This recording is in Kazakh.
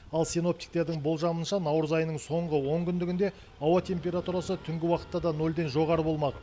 ал синоптиктердің болжауынша наурыз айының соңғы он күндігінде ауа температурасы түнгі уақытта да нөлден жоғары болмақ